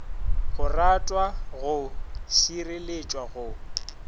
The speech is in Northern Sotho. go ratwa go šireletšwa go